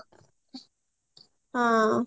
ହଁ